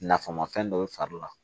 Nafamafɛn dɔ bɛ fari la